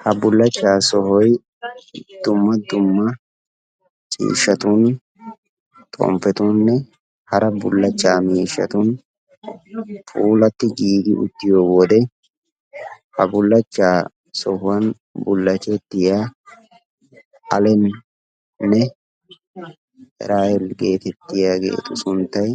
ha bullachcha sohoy dumma dumma ciishshatun xomppetuunne hara bullaachcha miishshatun puulati giigi uttiyo wode ha bullachchaa sohuwan bullachetiyaa Alemee erahele getettiyaageetu sunttay